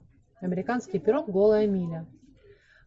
американский пирог гола миля